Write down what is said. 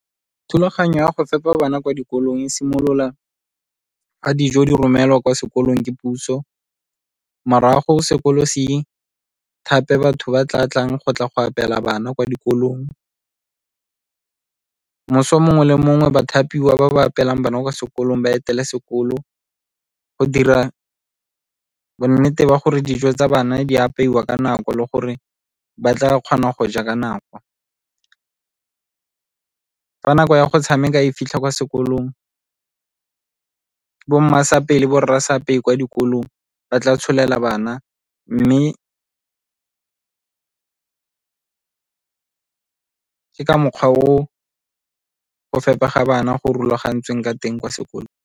Thulaganyo ya go fepa bana kwa dikolong e simolola ga dijo di romelwa kwa sekolong ke puso, morago sekolo le go se thape batho ba tla tlang go tla go apeela bana kwa dikolong. Moso mongwe le mongwe bathapiwa ba ba apeelang bana kwa sekolong ba etela sekolo go dira bonnete ba gore dijo tsa bana di apeiwa ka nako le gore ba tla kgona go ja ka nako. Fa nako ya go tshameka e fitlha kwa sekolong ka kwa dikolong ba tla tsholela bana, mme ke ka mokgwa o go fepa ga bana go rulagantsweng ka teng kwa sekolong.